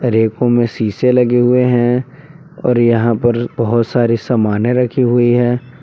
रेको शीशे लगे हुए है और यहां पर बहुत सारी सामाने रखी हुई है।